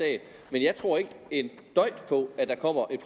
mere end